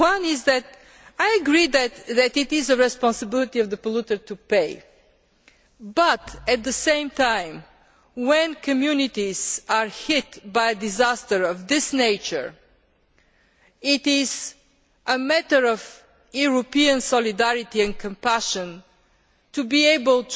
here. One is that I agree that it is the responsibility of the polluter to pay, but at the same time, when communities are hit by a disaster of this nature, it is a matter of European solidarity and compassion to